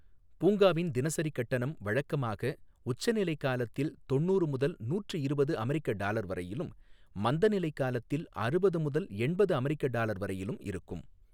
பூங்காவின் தினசரி கட்டணம் வழக்கமாக உச்சநிலை காலத்தில் தொண்ணூறு முதல் நூற்று இருபது அமெரிக்க டாலர் வரையிலும், மந்தநிலை காலத்தில் அறுபது முதல் எண்பது அமெரிக்க டாலர் வரையிலும் இருக்கும்.